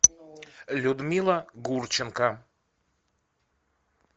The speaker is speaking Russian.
людмила гурченко